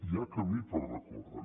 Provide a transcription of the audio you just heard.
hi ha camí per recórrer